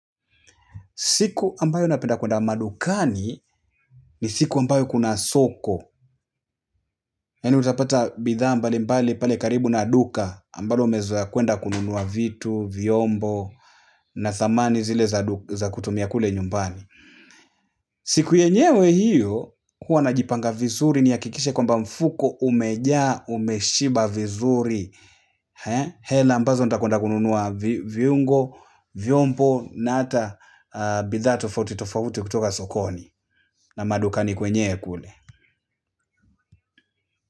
Siku ambayo napenda kuenda madukani ni siku ambayo kuna soko. Yaani utapata bidhaa mbalimbali pale karibu na duka ambalo umezoea kuenda kununua vitu, vyombo, na samani zile za kutumia kule nyumbani. Siku yenyewe hiyo, huwa najipanga vizuri nihakikishe kwamba mfuko umejaa umeshiba vizuri. Hela ambazo nataka kuenda kununua viungo, vyombo, na hata bidhaa tofauti tofauti kutoka sokoni. Na madukani kwenyewe kule.